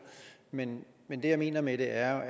men men det jeg mener med det er